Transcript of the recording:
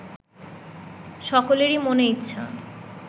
সকলেরই মনে ইচ্ছা